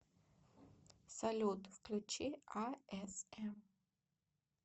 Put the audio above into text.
салют включи а эс эм